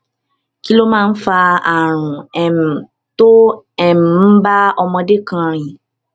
kí ló máa ń fa àrùn um tó um ń bá ọmọdé kan rìn